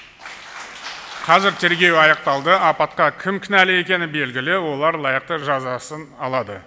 қазір тергеу аяқталды апатқа кім кінәлі екені белгілі олар лайықты жазасын алады